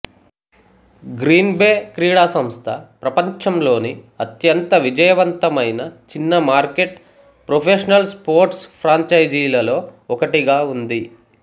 green Bay క్రీడాసంస్థ ప్రపంచంలోని అత్యంత విజయవంతమైన చిన్నమార్కెట్ ప్రొఫెషనల్ స్పోర్ట్స్ ఫ్రాంచైజీలలో ఒకటిగా ఉంది